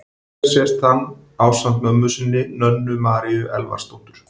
Hér sést hann ásamt mömmu sinni, Nönnu Maríu Elvarsdóttur.